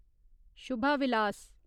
Shubha Vilas